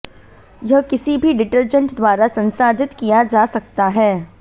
यह किसी भी डिटर्जेंट द्वारा संसाधित किया जा सकता है